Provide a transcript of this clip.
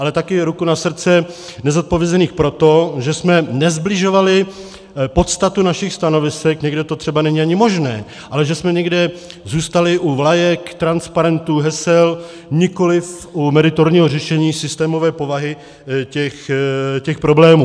Ale taky, ruku na srdce, nezodpovězených proto, že jsme nesbližovali podstatu našich stanovisek, někde to třeba není ani možné, ale že jsme někde zůstali u vlajek, transparentů, hesel, nikoliv u meritorního řešení systémové povahy těch problémů.